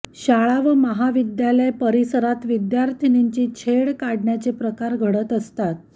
शाळा व महाविद्यालय परिसरात विद्यार्थीनींची छेड काढण्याचे प्रकार घडत असतात